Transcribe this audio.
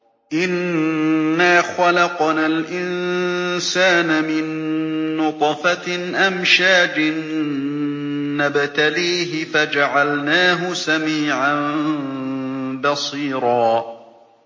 إِنَّا خَلَقْنَا الْإِنسَانَ مِن نُّطْفَةٍ أَمْشَاجٍ نَّبْتَلِيهِ فَجَعَلْنَاهُ سَمِيعًا بَصِيرًا